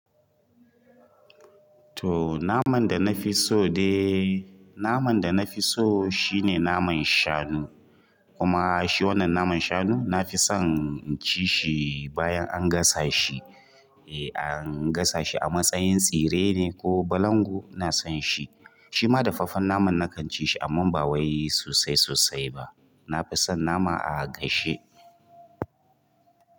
To naman da nafi so dai naman da nafi so shine naman shanu kuma shi wannan naman shanu na fi son ci shi bayan an gasa shi. Eh an gasa shi a matsayin tsire ne ko balangu ina son shi. Shi ma dafaffen naman na kan ci shi amma ba wai sosai sosai ba. Na fi son nama a gashe.